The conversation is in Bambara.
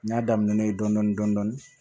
N y'a daminɛ n'o ye dɔɔnin dɔɔnin dɔɔnin